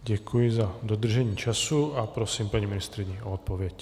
Děkuji za dodržení času a prosím paní ministryni o odpověď.